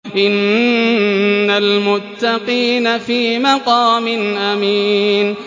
إِنَّ الْمُتَّقِينَ فِي مَقَامٍ أَمِينٍ